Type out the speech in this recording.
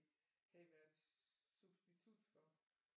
Havde været substitut for